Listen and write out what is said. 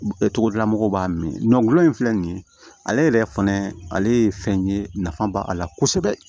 Togodala mɔgɔw b'a min gulɔ in filɛ nin ye ale yɛrɛ fɛnɛ ale ye fɛn ye nafa b'a la kosɛbɛ